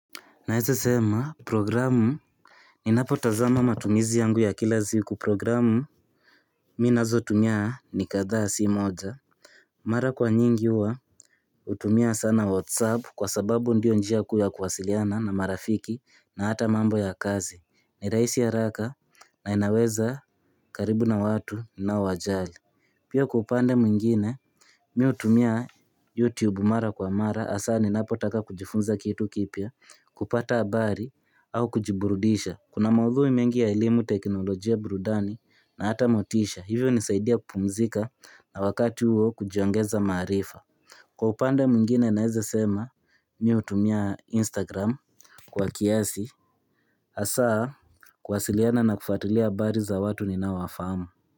Naeza sema programu Ninapo tazama matumizi yangu ya kila siku programu Mi nazo tumia ni kadhaa si moja Mara kwa nyingi huwa hutumia sana whatsapp kwa sababu ndio njia kuu ya kuwasiliana na marafiki na hata mambo ya kazi. Ni rahisi haraka na inaweza karibu na watu unao wajali Pia kwa upande mwingine mi hutumia youtube mara kwa mara asa ni napo taka kujifunza kitu kipya kupata habari au kujiburudisha Kuna maudhui mengi ya elimu teknolojia burudani na hata motisha. Hivyo nisaidia kupumzika na wakati huo kujiongeza maarifa Kwa upande mwingine naeza sema mi hutumia Instagram kwa kiasi Asaa kuwasiliana na kufuatilia habari za watu ninao wafamu.